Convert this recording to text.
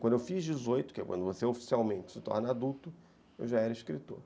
Quando eu fiz dezoito, que é quando você oficialmente se torna adulto, eu já era escritor.